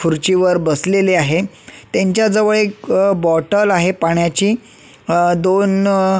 खुर्चीवर बसलेले आहे त्यांच्या जवळ एक बॉटल आहे पाण्याची अ दोन--